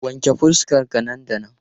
Wanke fuskar ka nan da nan!